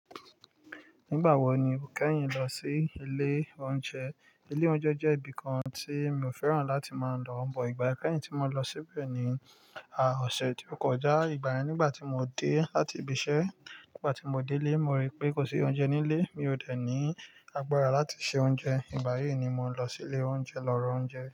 Nígbà wo ni o kẹ́yìn lọ sí ilé oúnjẹ? Ilé oúnjẹ jẹ́ ibi kan tí mi ò fẹ́ràn láti máa ń lọ, bọ̀ ìgbà kẹ́yìn tí mo lọ síbẹ̀ ni, à, ọ̀sẹ̀ tó kọjá. Ìgbà yẹn nígbà tí mo dé láti ibi iṣẹ́, nígbà tí mo dé ilé, mo rí pé kò sí oúnjẹ nílé, mi ò dẹ̀ ní agbára láti se oúnjẹ, ìgbà yẹn ni mo lọ sí ilé oúnjẹ lọ rọ oúnjẹ.